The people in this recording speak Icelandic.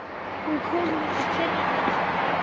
Hún kom líka fyrr en hún átti að koma.